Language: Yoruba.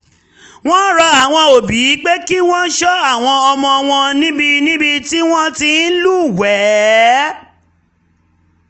wọ́n rọ àwọn òbí pé kí wọ́n ṣọ́ ọmọ wọn níbi níbi tí wọ́n ti ń lúwẹ̀ẹ́